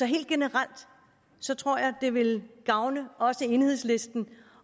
helt generelt tror jeg det ville gavne også enhedslisten